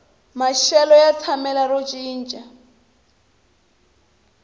maxelo ya tshamela ro cinca